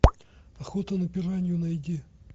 охота на пиранью найди